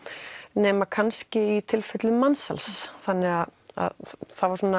nema kannski í tilfellum mansals þannig að það